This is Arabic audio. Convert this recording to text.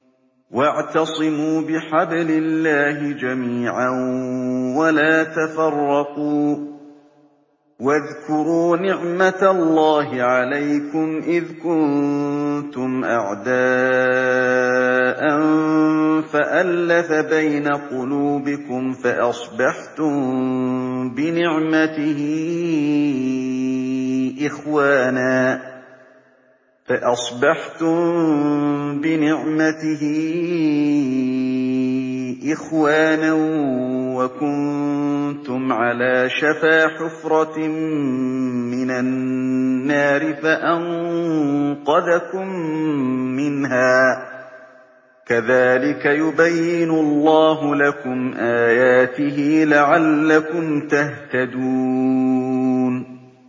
وَاعْتَصِمُوا بِحَبْلِ اللَّهِ جَمِيعًا وَلَا تَفَرَّقُوا ۚ وَاذْكُرُوا نِعْمَتَ اللَّهِ عَلَيْكُمْ إِذْ كُنتُمْ أَعْدَاءً فَأَلَّفَ بَيْنَ قُلُوبِكُمْ فَأَصْبَحْتُم بِنِعْمَتِهِ إِخْوَانًا وَكُنتُمْ عَلَىٰ شَفَا حُفْرَةٍ مِّنَ النَّارِ فَأَنقَذَكُم مِّنْهَا ۗ كَذَٰلِكَ يُبَيِّنُ اللَّهُ لَكُمْ آيَاتِهِ لَعَلَّكُمْ تَهْتَدُونَ